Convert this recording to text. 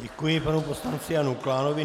Děkuji panu poslanci Janu Klánovi.